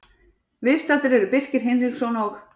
Viðstaddir eru Birkir Hinriksson og